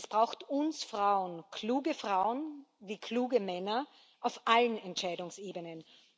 Es braucht uns Frauen kluge Frauen, wie kluge Männer auf allen Entscheidungsebenen.